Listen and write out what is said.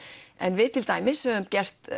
en við til dæmis höfum